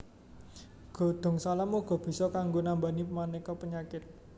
Godhong salam uga bisa kanggo nambani maneka penyakit